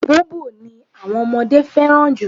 Bobo ni àwọn ọmọdé fẹ́ràn jù.